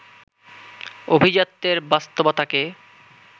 অভিজাত্যের বাস্তবতাকে